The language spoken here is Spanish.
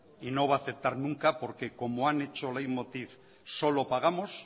y no va a aceptar nunca porque como han hecho leiv motiv solo pagamos